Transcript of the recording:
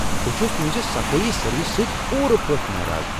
بہٕ چھس تہنٛزِ صفٲیی سٔروس سۭتۍ پوٗرٕ پٲٹھۍ ناراض۔